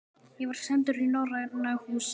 Ég var sendur í Norræna húsið.